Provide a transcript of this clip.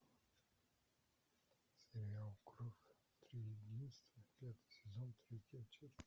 сериал кровь триединства пятый сезон третья часть